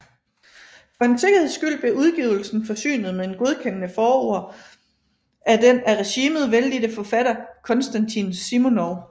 For en sikkerheds skyld blev udgivelsen forsynet med et godkendende forord af den af regimet vellidte forfatter Konstantin Simonov